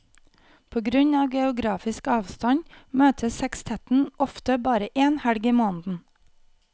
På grunn av geografisk avstand møtes sekstetten ofte bare én helg i måneden.